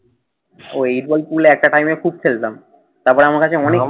ও eight ball pool একটা time এ খুব খেলতাম। তারপরে আমার কাছে অনেক